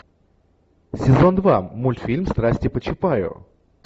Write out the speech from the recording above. сезон два мультфильм страсти по чапаеву